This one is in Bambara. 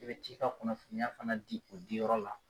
I bɛ t'i ka kunnafoniya fana di o diyɔrɔ la.